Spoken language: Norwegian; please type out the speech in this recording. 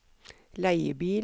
leiebil